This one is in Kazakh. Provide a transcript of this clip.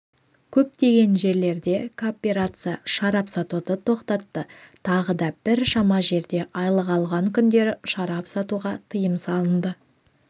көптеген жерлерде кооперация шарап сатуды тоқтатты тағы да біршама жерде айлық алған күндері шарап сатуға тыйым салынды